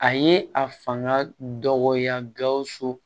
A ye a fanga dɔgɔya gawusu